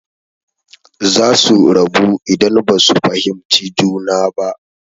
Zasu rabu idan basu fahimci juna ba.